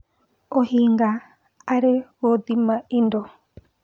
ũhinga harĩ gũthima indo